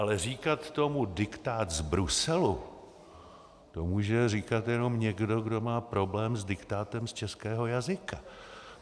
Ale říkat tomu diktát z Bruselu, to může říkat jenom někdo, kdo má problém s diktátem z českého jazyka.